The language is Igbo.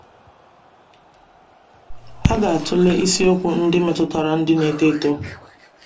A ga-atụle isiokwu ndị metụtara ndị n'eto eto.”